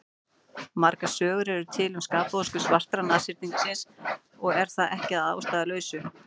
Margar sögur eru til um skapvonsku svarta nashyrningsins og er það ekki að ástæðulausu.